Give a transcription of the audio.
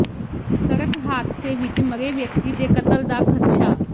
ਸੜਕ ਹਾਦਸੇ ਵਿੱਚ ਮਰੇ ਵਿਅਕਤੀ ਦੇ ਕਤਲ ਦਾ ਖ਼ਦਸ਼ਾ